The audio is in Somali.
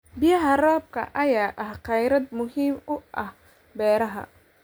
Biyaha roobka ayaa ah kheyraad muhiim u ah beeraha.